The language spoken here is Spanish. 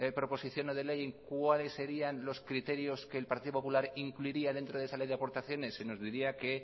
proposición no de ley en cuáles serían los criterios que el partido popular incluiría dentro de esa ley de aportaciones se nos diría que